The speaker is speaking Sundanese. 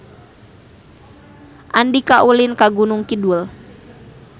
Andika ulin ka Gunung Kidul